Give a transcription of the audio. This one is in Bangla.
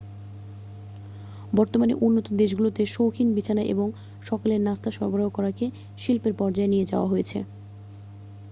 বর্তমানে উন্নত দেশগুলোতে সৌখিন বিছানা এবং সকালের নাস্তা সরবরাহ করাকে শিল্পের পর্যায়ে নিয়ে যাওয়া হয়েছে